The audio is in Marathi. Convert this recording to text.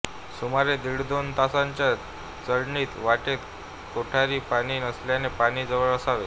सुमारे दीड ते दोन तासाच्या चढणीत वाटेत कोठेही पाणी नसल्याने पाणी जवळ असावे